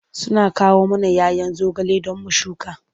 Suna kawo mana 'ya 'yan zogale don mu shuka.